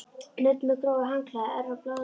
Nudd með grófu handklæði örvar blóðrásina.